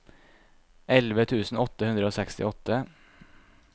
elleve tusen åtte hundre og sekstiåtte